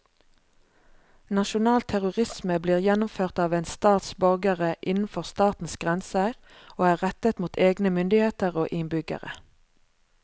Nasjonal terrorisme blir gjennomført av en stats borgere innenfor statens grenser og er rettet mot egne myndigheter og innbyggere.